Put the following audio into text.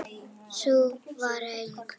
Sú var ung!